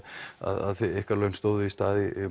að ykkar laun stóðu í stað í